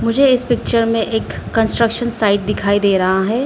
मुझे इस पिक्चर में एक कंस्ट्रक्शन साइट दिखाई दे रहा है।